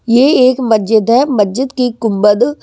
ये एक मस्जिद है मस्जिद की गुंबद--